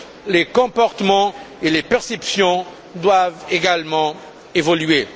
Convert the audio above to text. Les comportements et les perceptions doivent également évoluer.